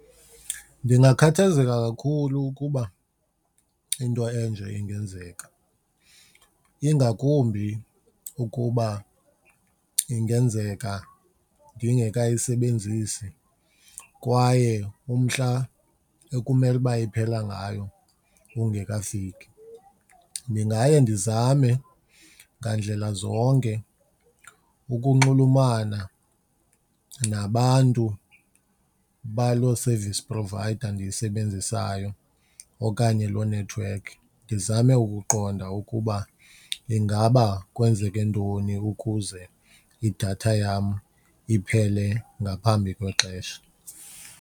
Ndingakhathazeka kakhulu ukuba into enje ingenzeka, ingakumbi ukuba ingenzeka ndingekayisebenzisi kwaye umhla ekumele uba iphela ngayo ungekafiki. Ndingaye ndizame ngandlela zonke ukunxulumana nabantu baloo service provider ndiyisebenzisayo okanye loo nethiwekhi ndizame ukuqonda ukuba ingaba kwenzeke ntoni ukuze idatha yam iphele ngaphambi kwexesha.